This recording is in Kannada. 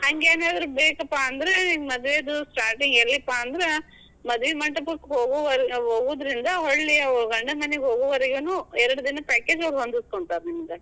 ಹಂಗೇನಾದ್ರೂ ಬೇಕಪಾ ಅಂದ್ರ, ನಿಮ್ ಮದ್ವೇದು. starting ಎಲ್ಲಿಪಾ ಅಂದ್ರ ಮದ್ವಿ ಮಂಟಪಕ್ ಹೋಗವ~ ಹೋಗೋದ್ರಿಂದ್ ಗಂಡನ್ ಮನಿಗೆ ಹೋಗೋ ವರೆಗೆನೂ ಎರಡ್ ದಿನದ್ package ಅವ್ರು ಹೊಂದಸ್ಕೋತಾರ್ ನಿಮಗ.